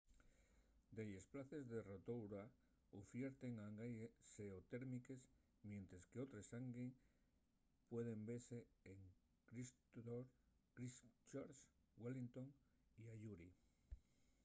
delles places en rotorua ufierten hangi xeotérmiques mientres qu’otres hangi pueden vese en christchurch wellingotn y ayuri